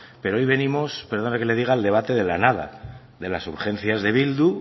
pero hoy venimos perdóneme que le diga al debate de la nada de las urgencias de bildu